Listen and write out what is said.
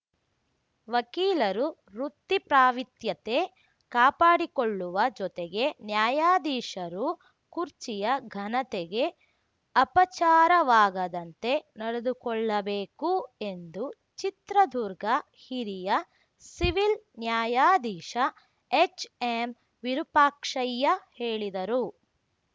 ವಕೀಲರು ವೃತ್ತಿ ಪ್ರಾವಿತ್ರ್ಯತೆ ಕಾಪಾಡಿಕೊಳ್ಳುವ ಜೊತೆಗೆ ನ್ಯಾಯಾಧೀಶರೂ ಕುರ್ಚಿಯ ಘನತೆಗೆ ಅಪಚಾರವಾಗದಂತೆ ನಡೆದುಕೊಳ್ಳಬೇಕು ಎಂದು ಚಿತ್ರದುರ್ಗ ಹಿರಿಯ ಸಿವಿಲ್‌ ನ್ಯಾಯಾಧೀಶ ಎಚ್‌ಎಂವಿರುಪಾಕ್ಷಯ್ಯ ಹೇಳಿದರು